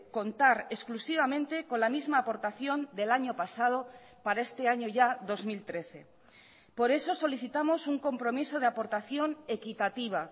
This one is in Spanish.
contar exclusivamente con la misma aportación del año pasado para este año ya dos mil trece por eso solicitamos un compromiso de aportación equitativa